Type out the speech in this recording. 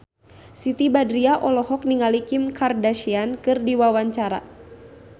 Siti Badriah olohok ningali Kim Kardashian keur diwawancara